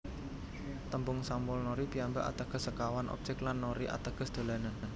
Tembung Samulnori piyambak ateges sekawan objek lan nori ateges dolanan